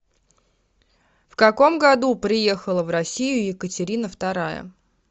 в каком году приехала в россию екатерина вторая